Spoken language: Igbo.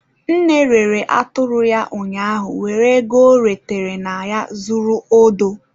Nne rere atụrụ ya ụnyaahụ were ego ọ retere na ya zụrụ odo.